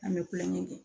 An bɛ kulonkɛ kɛ